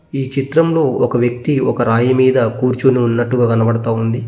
ఈ చిత్రంలో ఒక వ్యక్తి ఒక రాయి మీద కూర్చుని ఉన్నట్టుగా కనబడతా ఉంది.